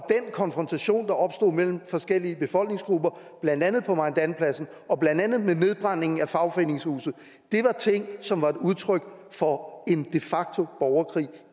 konfrontation der opstod mellem forskellige befolkningsgrupper blandt andet på maidanpladsen blandt andet med nedbrændingen af fagforeningshuset var ting som var et udtryk for en de facto borgerkrig